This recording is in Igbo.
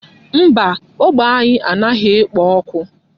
Mba, ógbè anyị a naghị ekpo ọkụ.